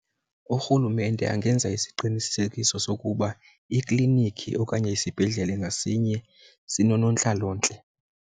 Urhulumente angenza isiqinisekiso sokuba iklinikhi okanye isibhedlele ngasinye sinonontlalontle.